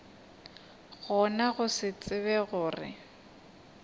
gona go se tsebe gore